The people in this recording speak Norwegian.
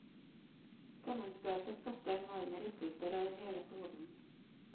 Sammenstøtet skapte enorme rystelser over hele kloden.